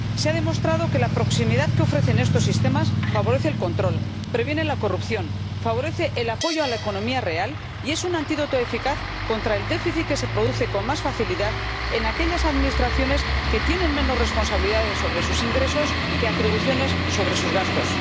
Se ha demostrado que la proximidad que ofrecen estos sistemas favorece el control, previene la corrupción, favorece el apoyo a la economía real y es un antídoto eficaz contra el déficit que se produce con más facilidad en aquellas administraciones que tienen menos responsabilidades sobre sus ingresos que atribuciones sobre sus gastos.